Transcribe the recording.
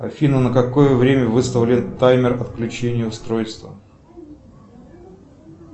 афина на какое время выставлен таймер отключения устройства